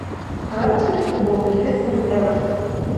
давай посмотрим футбол ливерпуль эвертон